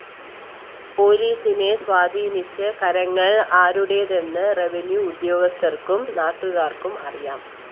പോലീസിനെ സ്വാധീനിച്ച കരങ്ങള്‍ ആരുടേതെന്ന് റെവന്യൂ ഉദ്യോഗസ്ഥര്‍ക്കും നാട്ടുകാര്‍ക്കും അറിയാം